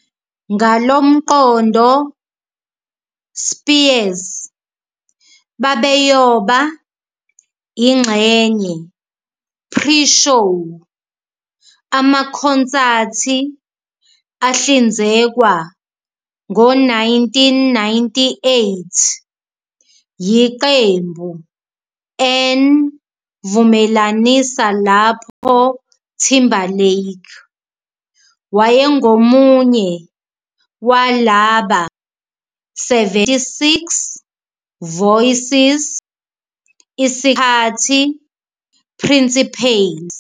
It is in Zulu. Ngalo mqondo, Spears babeyoba ingxenye pre-show amakhonsathi ahlinzekwa ngo-1998 yiqembu 'N Vumelanisa lapho Timberlake wayengomunye walaba 76 voices isikhathi principales.